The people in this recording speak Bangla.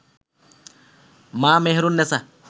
মা মেহেরুন নেছা